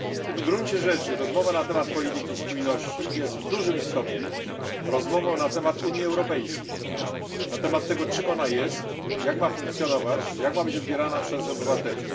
W gruncie rzeczy rozmowa na temat polityki spójności jest w dużym stopniu rozmową na temat Unii Europejskiej, na temat tego, czym ona jest, jak ma funkcjonować, jak ma być odbierana przez obywateli.